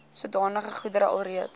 sodanige goedere alreeds